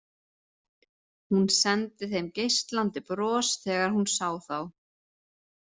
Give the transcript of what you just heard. Hún sendi þeim geislandi bros þegar hún sá þá.